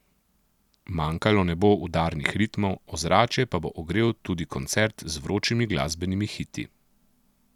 Manjkalo ne bo udarnih ritmov, ozračje pa bo ogrel tudi koncert z vročimi glasbenimi hiti.